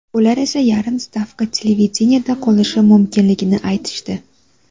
Ular esa yarim stavka televideniyeda qolishim mumkinligini aytishdi.